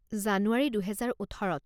জানুৱাৰি দুহেজাৰ ওঠৰত